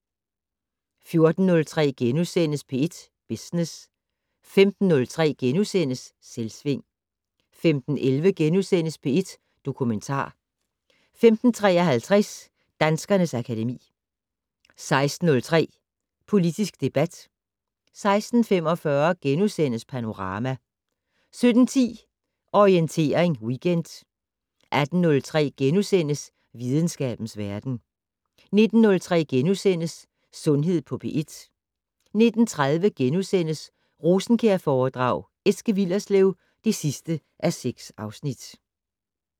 14:03: P1 Business * 15:03: Selvsving * 15:11: P1 Dokumentar * 15:53: Danskernes akademi 16:03: Politisk debat 16:45: Panorama * 17:10: Orientering Weekend 18:03: Videnskabens verden * 19:03: Sundhed på P1 * 19:30: Rosenkjærforedrag: Eske Willerslev (6:6)*